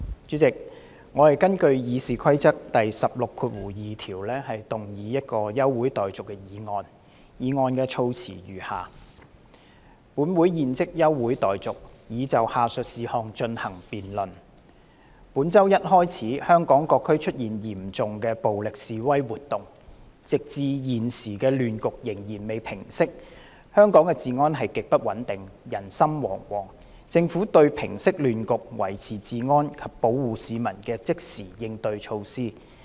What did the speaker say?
主席，我根據《議事規則》第162條動議休會待續的議案，議案的措辭如下：本會現即休會待續，以就下述事項進行辯論：本周一開始香港各區出現嚴重暴力示威活動，直至現時亂局仍未平息，香港的治安極不穩定，人心惶惶，政府對平息亂局、維持治安及保護市民的即時應對措施。